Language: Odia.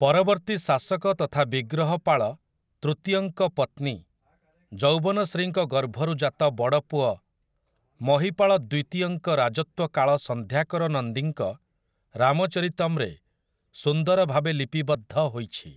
ପରବର୍ତ୍ତୀ ଶାସକ ତଥା ବିଗ୍ରହପାଳ ତୃତୀୟଙ୍କ ପତ୍ନୀ ଯୌବନଶ୍ରୀଙ୍କ ଗର୍ଭରୁ ଜାତ, ବଡ଼ ପୁଅ, ମହୀପାଳ ଦ୍ୱିତୀୟଙ୍କ ରାଜତ୍ୱ କାଳ ସନ୍ଧ୍ୟାକର ନନ୍ଦୀଙ୍କ ରାମଚରିତମ୍‌ରେ ସୁନ୍ଦର ଭାବେ ଲିପିବଦ୍ଧ ହୋଇଛି ।